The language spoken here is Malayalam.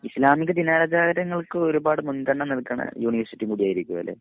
ഇസ്ലാമിക ദിനാചാരങ്ങൾക്ക് ഒരുപാട് മുൻഗണന നൽകുന്ന യൂനിവേർസിറ്റി കൂടിയായിരിക്കും അത് അല്ലേ?